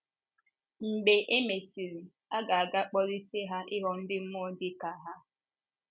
Mgbe e mesịrị, a ga ga - akpolité ha ịghọ ndị mmụọ dị ka ha.